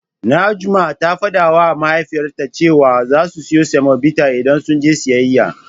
Najma ta fadawa Mahaifiyarta cewa zasu siyo semobita idan sun je siyayya.